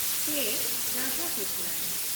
ᱠᱮ. Radhakrishnan